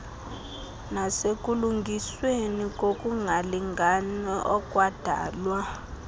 nasekulungisweni kokungalingani okwadalwa